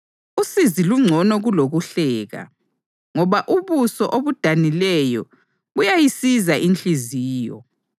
Usizi lungcono kulokuhleka, ngoba ubuso obudanileyo buyayisiza inhliziyo.